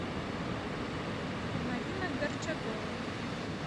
марина горчагова